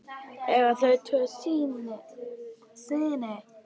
Eiga þau tvo syni.